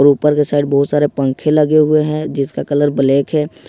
और ऊपर के साइड बहुत सारे पंखे लगे हुए हैं जिसका कलर ब्लैक है।